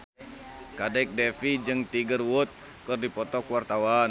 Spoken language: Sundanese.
Kadek Devi jeung Tiger Wood keur dipoto ku wartawan